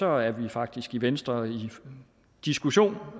er vi faktisk i venstre i diskussion